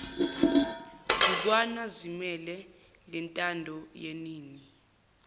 bhukwana zimele lentandoyeningi